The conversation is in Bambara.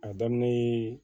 A daminɛ